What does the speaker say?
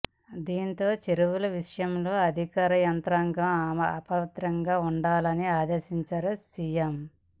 దీంతో చెరువుల విషయంలో అధికార యంత్రంగం అప్రమత్తంగా ఉండాలని అదేశించారు సీఎం